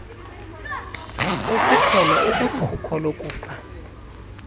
siqholo ukwikhuko lokufa